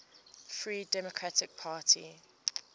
free democratic party